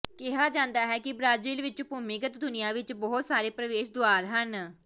ਕਿਹਾ ਜਾਂਦਾ ਹੈ ਕਿ ਬ੍ਰਾਜ਼ੀਲ ਵਿਚ ਭੂਮੀਗਤ ਦੁਨੀਆਂ ਵਿਚ ਬਹੁਤ ਸਾਰੇ ਪ੍ਰਵੇਸ਼ ਦੁਆਰ ਹਨ